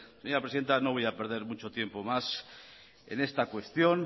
señora presidenta no voy a perder mucho tiempo más en esta cuestión